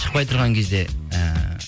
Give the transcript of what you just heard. шықпай тұрған кезде ііі